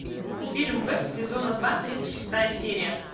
фильм бек сезона два тридцать шестая серия